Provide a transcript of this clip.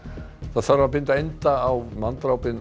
það þarf að binda enda á